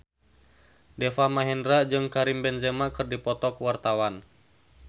Deva Mahendra jeung Karim Benzema keur dipoto ku wartawan